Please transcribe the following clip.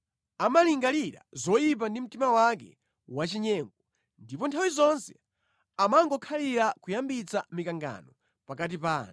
amalingalira zoyipa ndi mtima wake wachinyengo ndipo nthawi zonse amangokhalira kuyambitsa mikangano pakati pa anthu.